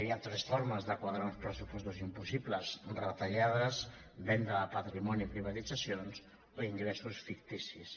hi ha tres formes de quadrar uns pressupostos impossibles retallades venda de patrimoni i privatitzacions o ingressos ficticis